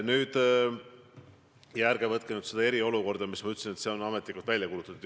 Aga ärge võtke seda kui eriolukorda, ma ei öelnud, et see on ametlikult välja kuulutatud.